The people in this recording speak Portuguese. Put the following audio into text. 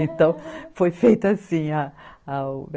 Então, foi feito assim a a.